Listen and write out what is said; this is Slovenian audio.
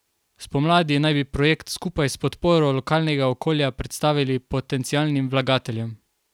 Spomladi naj bi projekt skupaj s podporo lokalnega okolja predstavili potencialnim vlagateljem.